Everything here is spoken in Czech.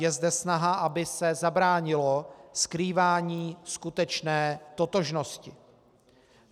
Je zde snaha, aby se zabránilo skrývání skutečné totožnosti.